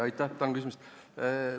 Aitäh, tänan küsimast!